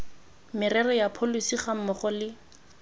merero ya pholesi gammogo le